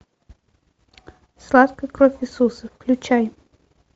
сладкая кровь иисуса включай